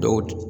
Dɔw